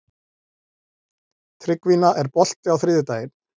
Tryggvína, er bolti á þriðjudaginn?